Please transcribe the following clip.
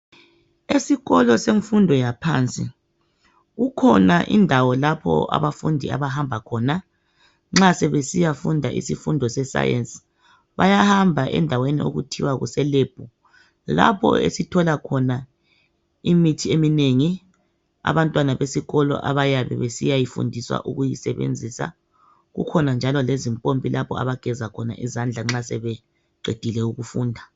Esikolo semfundo yaphansi kukhona indawo lapha abafundi abahamba khona nxabe siyafunda isifundo sesayenzi bahamba endaweni abayibiza besithi yilebhu lapha esithola imithi eminengi kukhona lempompi yokugeza uzandla abantwana nxa sebeqedile ukufunda